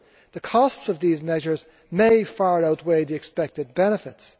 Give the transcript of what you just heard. The costs of these measures may far outweigh the expected benefits.